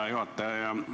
Hea juhataja!